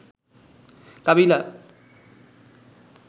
কাবিলা